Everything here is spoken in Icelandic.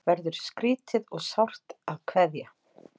Verður skrýtið og sárt að kveðja